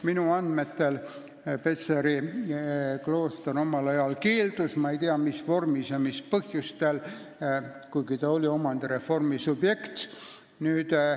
Minu andmetel keeldus Petseri klooster omal ajal pakutud võimalusest, ma ei tea, mis vormis ja mis põhjustel, kuigi ta oleks pidanud olema omandireformi subjekt.